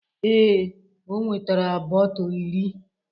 Ee, o nwetara bọtl iri